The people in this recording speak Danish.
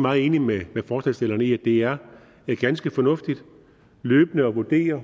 meget enig med forslagsstillerne i at det er ganske fornuftigt løbende at vurdere